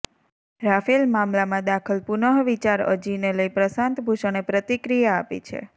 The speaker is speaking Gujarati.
રાફેલ મામલામાં દાખલ પુનઃવિચાર અજીને લઈ પ્રશાંત ભૂષણે પ્રતિક્રિયા આપી છે